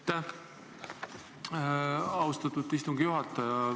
Aitäh, austatud istungi juhataja!